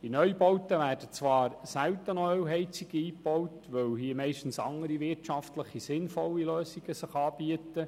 In Neubauten werden zwar nur noch selten Ölheizungen eingebaut, weil sich meistens andere, wirtschaftlich sinnvolle Lösungen anbieten.